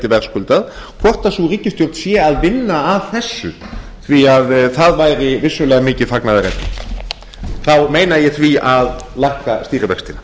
verðskuldað hvort sú ríkisstjórn sé að vinna að þessu því það væri vissulega mikið fagnaðarefni þá meina ég það að lækka stýrivextina